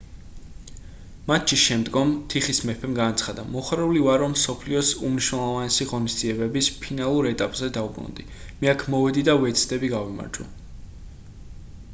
მატჩის შემდგომ თიხის მეფემ განაცხადა მოხარული ვარ რომ მსოფლიოს უმნიშვნელოვანესი ღონისძიებების ფინალურ ეტაპზე დავბრუნდი მე აქ მოვედი და ვეცდები გავიმარჯვო